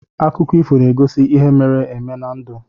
Akụkọ ifo na-egosi ihe mere eme na ndụ.